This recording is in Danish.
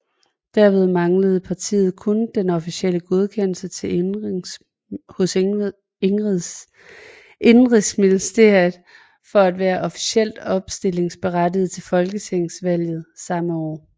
Derved manglede partiet kun den officielle godkendelse hos Indenrigsministeriet for at være officielt opstillingsberettigede til Folketingsvalget samme år